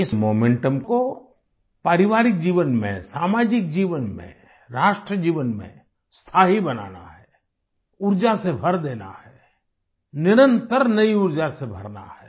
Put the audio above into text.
इस मोमेंटम को पारिवारिक जीवन में सामाजिक जीवन में राष्ट्र जीवन में स्थायी बनाना है ऊर्जा से भर देना है निरन्तर नयी ऊर्जा से भरना है